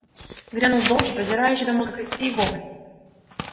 грянул долгий продирающий до мозга костей вопль